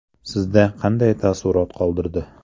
Sizda qanday taassurot qoldirdi?